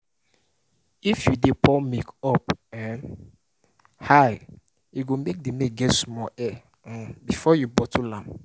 if you de pour milk from up um high e go make the milk get small air um before you bottle am